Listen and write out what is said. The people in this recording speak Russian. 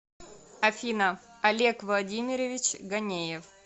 афина олег владимирович ганеев